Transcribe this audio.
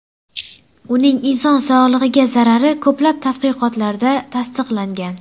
Uning inson sog‘lig‘iga zarari ko‘plab tadqiqotlarda tasdiqlangan .